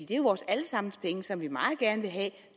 det er jo vores alle sammens penge som vi meget gerne vil have